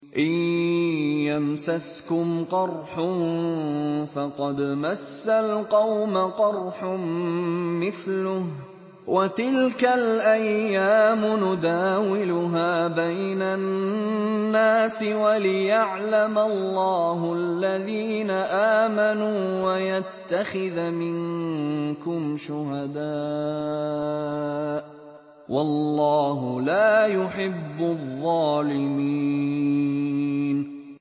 إِن يَمْسَسْكُمْ قَرْحٌ فَقَدْ مَسَّ الْقَوْمَ قَرْحٌ مِّثْلُهُ ۚ وَتِلْكَ الْأَيَّامُ نُدَاوِلُهَا بَيْنَ النَّاسِ وَلِيَعْلَمَ اللَّهُ الَّذِينَ آمَنُوا وَيَتَّخِذَ مِنكُمْ شُهَدَاءَ ۗ وَاللَّهُ لَا يُحِبُّ الظَّالِمِينَ